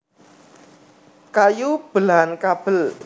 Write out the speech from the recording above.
Kayu belahan Kabel